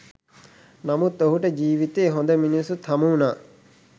නමුත් ඔහුට ජීවිතයේ හොඳ මිනිස්සුත් හමුවුණා.